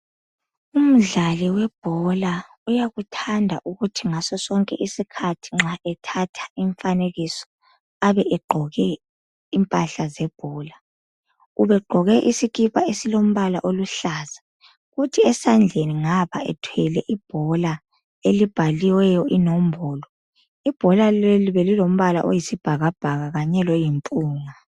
Umdlali webhola uyakuthanda ukuthi ngaso sonke isikhathi nxa ethatha imfanekiso abe egqoke impahla zebhola. Ubegqoke isikipa esilombala oluhlaza, kuthi esandleni ngapha ethwele ibhola elibhaliweyo inombolo. Ibhola leli belilombala oyisibhakbhaka kanye loyimpunga.